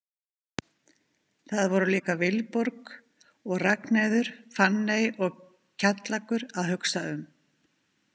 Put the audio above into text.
Það voru líka Vilborg og Ragnheiður, Fanney og Kjallakur að hugsa um.